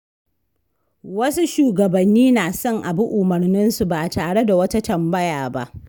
Wasu shugabanni na son a bi umarninsu ba tare da wata tambaya ba.